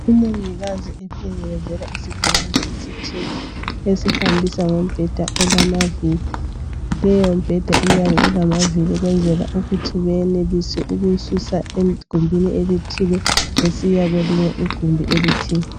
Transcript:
Umongikazi ephelekezela isigulane esithile esihambisa ngombheda olamaviri. Leyomibheda iyabe ilamaviri ukwenzela ukuthi beyenelise ukuyisusa egumbini elithile besiya kwelinye igumbi elithile.